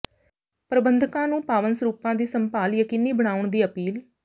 ਪ੍ਰਬੰਧਕਾਂ ਨੂੰ ਪਾਵਨ ਸਰੂਪਾਂ ਦੀ ਸੰਭਾਲ ਯਕੀਨੀ ਬਣਾਉਣ ਦੀ ਅਪੀਲ